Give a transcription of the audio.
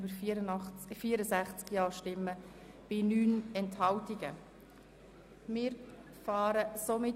6.f Existenzsicherung und Integration I Reduktion Unterstützungsleistungen für Sozialhilfebeziehende (Massnahme 44.7.1):